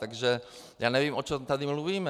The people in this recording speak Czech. Takže já nevím, o čem tady mluvíme.